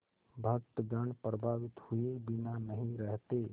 भक्तगण प्रभावित हुए बिना नहीं रहते